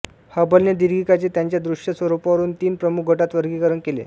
हबलने दीर्घिकांचे त्यांच्या दृश्य स्वरूपावरून तीन प्रमुख गटांत वर्गीकरण केले